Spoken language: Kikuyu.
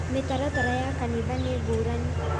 mĩtaratara ya kanitha nĩ ngũrani